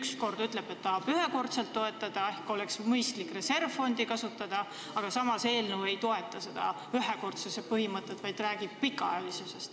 Ühelt poolt ütleb, et tahab ühekordselt toetada ehk siis et oleks mõistlik reservfondi kasutada, aga samas eelnõu ei toeta seda ühekordsuse põhimõtet, vaid viitab nagu pikaajalisusele.